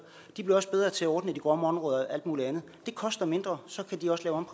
de bliver også bedre til at ordne de grønne områder og alt mulig andet det koster mindre og så kan de også lave